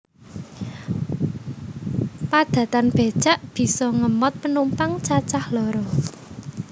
Padatan becak bisa ngemot penumpang cacah loro